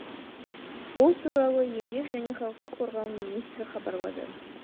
бұл туралы еңбек және халықты қорғау министрі хабарлады